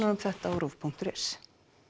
um þetta á ruv punktur is